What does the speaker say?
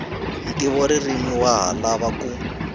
ntivoririmi wa ha lava ku